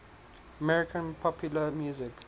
american popular music